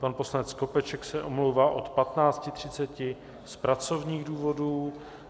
Pan poslanec Skopeček se omlouvá od 15.30 z pracovních důvodů.